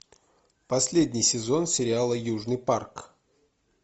последний сезон сериала южный парк